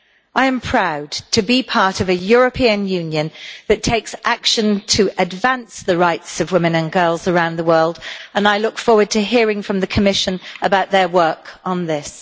I am proud to be part of a European Union that takes action to advance the rights of women and girls around the world and I look forward to hearing from the Commission about their work on this.